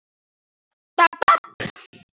Þetta er mjög magnað.